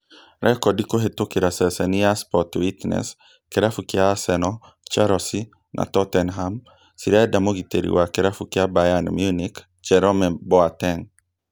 Rekondi kũhetũkĩra ceceni ya Sport Witness, kĩrabu kĩa Arsenal, Chelsea na Tottenham cirenda mũgitĩri wa kĩrabu kĩa Bayern Munich Jerome Boateng